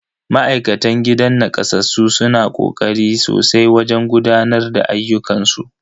Ma'aikatan gidan nakasassu suna kokari sosai wajen gudanar da ayyukan su.